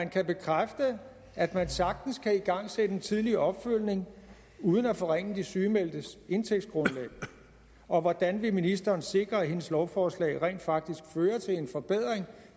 kan bekræfte at man sagtens kan igangsætte en tidlig opfølgning uden at forringe de sygemeldtes indtægtsgrundlag og hvordan vil ministeren sikre at hendes lovforslag rent faktisk fører til en forbedring